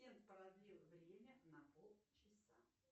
продлил время на пол часа